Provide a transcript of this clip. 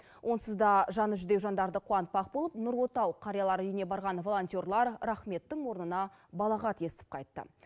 онсыз да жаны жүдеу жандарды қуантпақ болып нұр отау қариялар үйіне барған волонтерлер рахметтің орнына балағат естіп қайтты